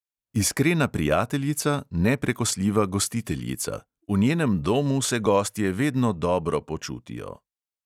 Iskrena prijateljica, neprekosljiva gostiteljica; v njenem domu se gostje vedno dobro počutijo.